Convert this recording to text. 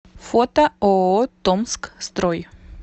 фото ооо томскстрой